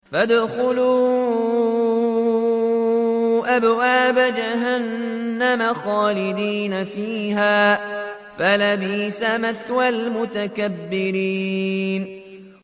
فَادْخُلُوا أَبْوَابَ جَهَنَّمَ خَالِدِينَ فِيهَا ۖ فَلَبِئْسَ مَثْوَى الْمُتَكَبِّرِينَ